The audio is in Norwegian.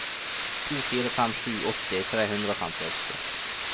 to fire fem sju åtti tre hundre og femtiåtte